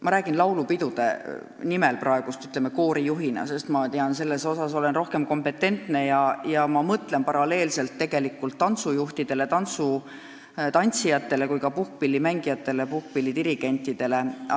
Ma räägin laulupidudest praegu koorijuhina, sest selles valdkonnas olen ma rohkem kompetentne, aga ma mõtlen paralleelselt ka tantsujuhtidele, tantsijatele, puhkpillimängijatele ja puhkpilliorkestrite dirigentidele.